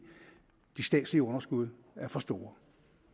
de statslige underskud er for store